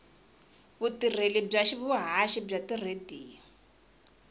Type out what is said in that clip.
vutirheli bya vuhaxi bya tiradiyo